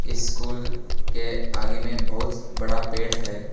School के आगे में बहोत बड़ा पेड़ है।